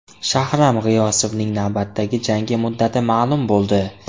Shahram G‘iyosovning navbatdagi jangi muddati ma’lum bo‘ldi.